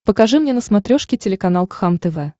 покажи мне на смотрешке телеканал кхлм тв